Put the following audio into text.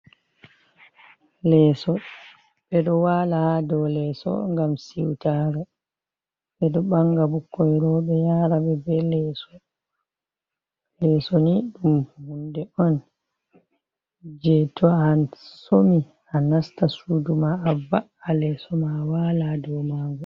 Leeso, ɓe ɗo waala haa do leeso ngam siutare, ɓe ɗo ɓanga ɓukkoi rooɓe yaara ɓe be leeso, leeso ni ɗum huunde on je to a somi a nasta suudu ma, a va'a leeso ma wala haa do mango.